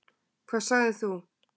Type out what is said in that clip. Hvað sagðir þú?